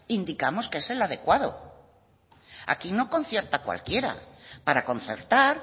indicamos que es el adecuado aquí no concierta cualquiera para concertar